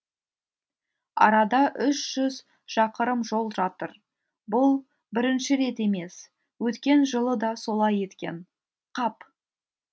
арада үш жүз шақырым жол жатыр бұл бірінші рет емес өткен жылы да солай еткен қап